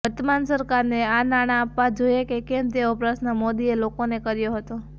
વર્તમાન સરકારને આ નાણાં આપવા જોઈએ કે કેમ તેવો પ્રશ્ર્ન મોદીએ લોકોને કર્યો હતો